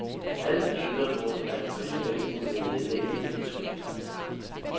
Alt tyder på, at præsidenten vil nedlægge veto.